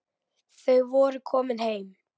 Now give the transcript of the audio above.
Þau voru komin heim.